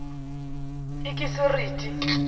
ikisiriti